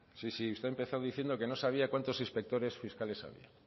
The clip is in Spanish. sí sí usted ha empezado diciendo que no sabía cuántos inspectores fiscales había